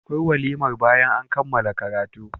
anayin walimar bayan an kammala karatu